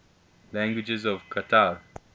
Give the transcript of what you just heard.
languages of qatar